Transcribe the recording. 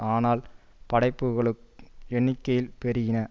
ஆனால் படைப்புக்களும் எண்ணிக்கையில் பெருகின